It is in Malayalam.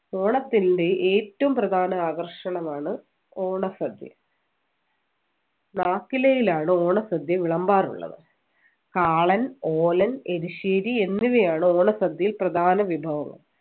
ഓണത്തിൻ്റെ ഏറ്റവും പ്രധാന ആകർഷണമാണ് ഓണസദ്യ നാക്കിലയിലാണ് ഓണസദ്യ വിളമ്പാറുള്ളത് കാളൻ ഓലൻ എരിശ്ശേരി എന്നിവയാണ് ഓണസദ്യയിൽ പ്രധാന വിഭവങ്ങൾ